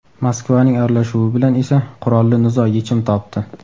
Moskvaning aralashuvi bilan esa qurolli nizo yechim topdi.